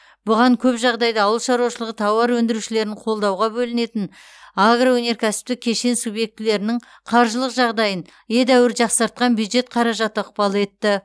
бұған көп жағдайда ауыл шаруашылығы тауар өндірушілерін қолдауға бөлінетін агроөнеркәсіптік кешен субъектілерінің қаржылық жағдайын едәуір жақсартқан бюджет қаражаты ықпал етті